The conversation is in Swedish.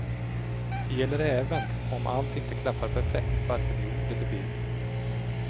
Det gäller även om allt inte klaffar perfekt, varken i ord eller bild.